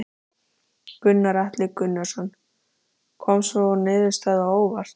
Gunnar Atli Gunnarsson: Kom sú niðurstaða á óvart?